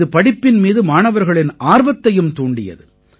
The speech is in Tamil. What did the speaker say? இது படிப்பின் மீது மாணவர்களின் ஆர்வத்தையும் தூண்டியது